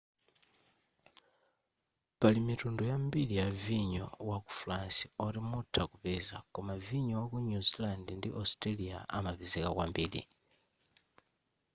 pali mitundu yambiri ya vinyo wa ku france oti mutha kupeza koma vinyo waku new zealand ndi australia amapezeka kwambiri